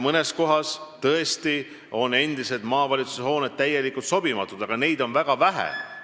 Mõnes kohas on endised maavalitsushooned tõesti omavalitsustele täielikult sobimatud, aga neid on väga vähe.